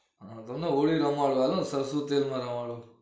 હ તમન હોળી રમાડવાનો સરસું તેલ માં રમાડું